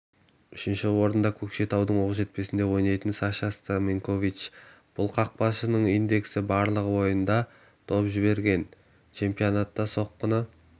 үшінші орында көкшетаудың оқжетпесінде ойнайтын саша стаменкович бұл қақпашының индексі барлығы ойында доп жіберген чемпионатта соққыны